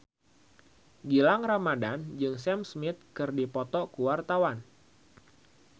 Gilang Ramadan jeung Sam Smith keur dipoto ku wartawan